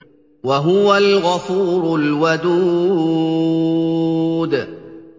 وَهُوَ الْغَفُورُ الْوَدُودُ